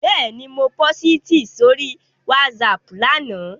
Bẹ́ẹ̀ni, mo pósìtì sórí WhatsApp lánàá